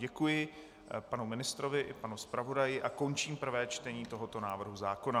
Děkuji panu ministrovi i panu zpravodaji a končím prvé čtení tohoto návrhu zákona.